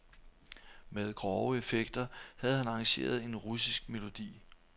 Med grove effekter havde han arrangeret en russisk melodi.